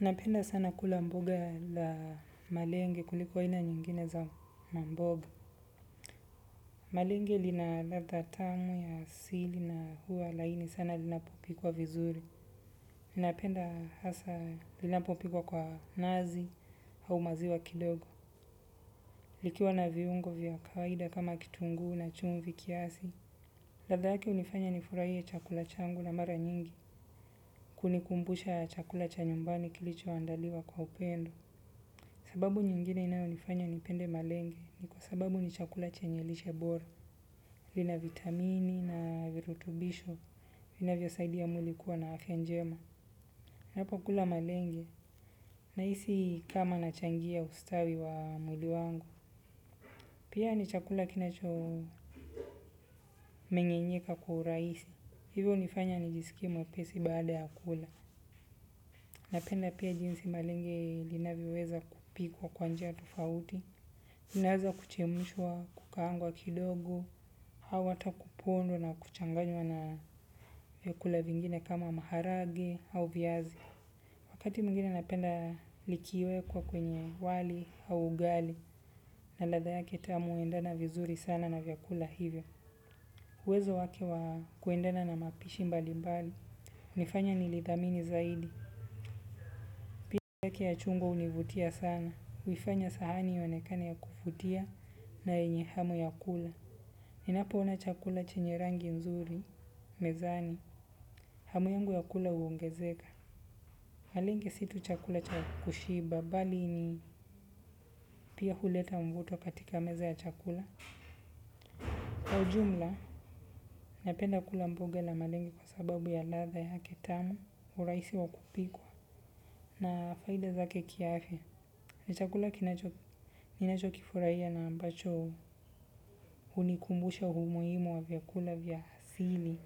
Napenda sana kula mboga la malenge kuliko aina nyingine za mamboga. Malenge lina ladha tamu ya asili na huwa laini sana linapopikwa vizuri. Ninapenda hasa linapopikwa kwa nazi au maziwa kidogo. Likiwa na viungo vya kawaida kama kitunguu na chumvi kiasi. Ladha yake hunifanya nifurahie chakula changu na mara nyingi. Kunikumbusha chakula cha nyumbani kilichoandaliwa kwa upendo. Sababu nyingine inayonifanya nipende malenge ni kwa sababu ni chakula chenye lishe bora. Lina vitamini na virutubisho vinavyosaidia mwili kuwa na afya njema. Ninapokula malenge nahisi kama nachangia ustawi wa mwili wangu. Pia ni chakula kinachomengenyeka kwa urahisi. Hivyo hunifanya nijisikie mwepesi baada ya kula. Napenda pia jinsi malenge linavyoweza kupikwa kwa njia tofauti. Linaweza kuchemshwa, kukaangwa kidogo, au hata kupondwa na kuchanganywa na vyakula vingine kama maharage au viazi. Wakati mwingine napenda likiwekwa kwenye wali au ugali na ladha yake tamu huendana vizuri sana na vyakula hivyo. Uwezo wake wa kuendana na mapishi mbalimbali. Hunifanya nilidhamini zaidi. Pia yake ya chungwa hunivutia sana. Huifanya sahani ionekane ya kuvutia na yenye hamu ya kula. Ninapoona chakula chenye rangi nzuri, mezani, hamu yangu ya kula huongezeka. Malenge si tu chakula cha kushiba bali ni, pia huleta mvuto katika meza ya chakula. Kwa ujumla napenda kula mboga la malenge kwa sababu ya ladha yake tamu urahisi wa kupikwa na faida zake kiafya. Ni chakula kinacho, ninachokifurahia na ambacho hunikumbusha umuhimu wa vyakula vya asili